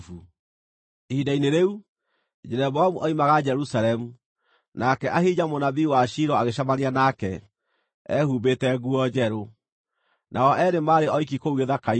Ihinda-inĩ rĩu, Jeroboamu oimaga Jerusalemu, nake Ahija mũnabii wa Shilo agĩcemania nake, ehumbĩte nguo njerũ. Nao eerĩ maarĩ oiki kũu gĩthaka-inĩ,